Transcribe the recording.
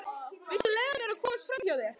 Viltu leyfa mér að komast framhjá þér!